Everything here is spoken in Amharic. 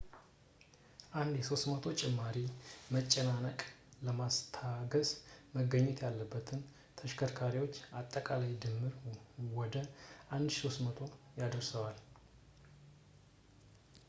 አንድ የ300 ጭማሪ መጨናነቅ ለማስታገስ መገኘት ያለበትን የተሸከርካሪዎች አጠቃላይ ድምር ወደ 1,300 ያደርሰዋል